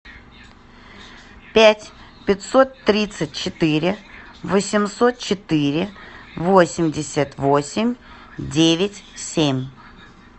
пять пятьсот тридцать четыре восемьсот четыре восемьдесят восемь девять семь